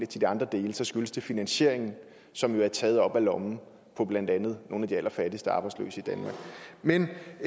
til de andre dele skyldes det finansieringen som jo er taget op af lommen på blandt andet nogle af de allerfattigste arbejdsløse i danmark men